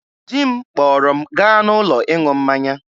Di m kpọrọ m gaa n'ụlọ ịṅụ mmanya.